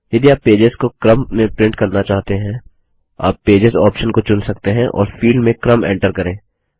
यदि आप पेजेस को क्रम में प्रिंट करना चाहते हैं आप पेजेस ऑप्शन को चुन सकते हैं और फील्ड में क्रम एंटर करें